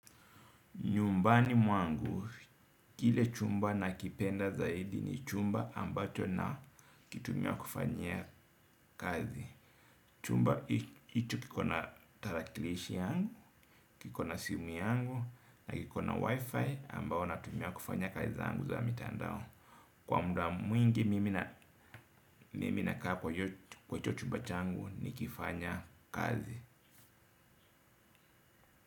Nyumbani kwangu, kile chumba na kipenda zaidi ni chumba ambacho na kitumia kufanyia kazi. Chumba hicho kikona tarakilishi yangu, kikona simu yangu, na kikona wifi ambayo natumia kufanya kazi zangu za mitandao. Kwa muda mwingi mimi na kaa kwahicho chumbachangu ni kifanya kazi.